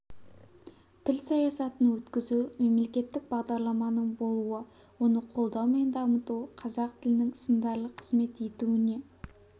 тіл саясатын өткізу мемлекеттік бағдарламаның болуы оны қолдау мен дамыту қазақ тілінің сындарлы қызмет етуіне